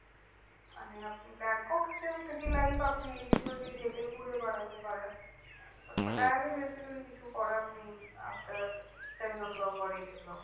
মানে আপনি Bangkok still city life আপনি এদিক ওদিক হেঁটে ঘুরে বেড়াতে পারেন। but পাটায়াতে basically কিছু করার নেই। after seven o clock or eight o clock